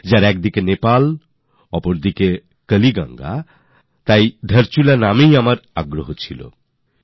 ওদিকে নেপাল এদিকে কালীগঙ্গা তাই স্বাভাবিকভাবে ধারচুলা শুনতেই সেই খবরের দিকে আমার দৃষ্টি গেছে